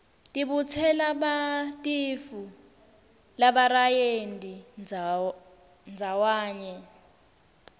tibutselabantifu labarayenti ndzawanye